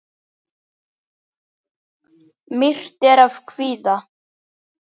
Myrkt er af kvíða.